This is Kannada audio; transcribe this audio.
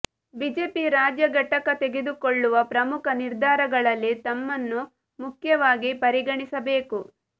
ಬಿಜೆಪಿ ರಾಜ್ಯ ಘಟಕ ತೆಗೆದುಕೊಳ್ಳುವ ಪ್ರಮುಖ ನಿರ್ಧಾರಗಳಲ್ಲಿ ತಮ್ಮನ್ನೂ ಮುಖ್ಯವಾಗಿ ಪರಿಗಣಿಸಬೇಕು